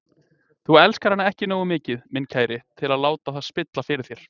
Þú elskar hana ekki nógu mikið, minn kæri, til að láta það spilla fyrir þér.